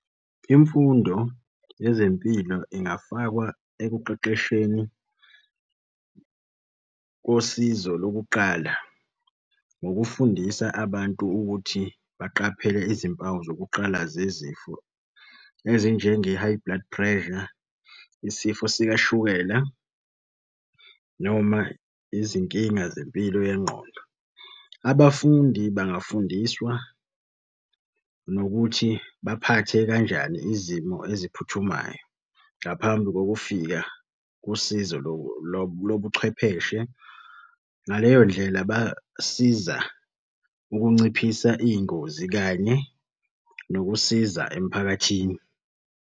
Imfundo yezempilo ingafakwa ekuqeqesheni kosizo lokuqala ngokufundisa abantu ukuthi baqaphele izimpawu zokuqala zezifo ezinjenge-high blood pressure, isifo sikashukela noma izinkinga zempilo yengqondo. Abafundi bangafundiswa nokuthi baphathe kanjani izimo eziphuthumayo ngaphambi ngokufika usizo lobuchwepheshe. Ngaleyo ndlela basiza ukunciphisa iy'ngozi kanye nokusiza emphakathini.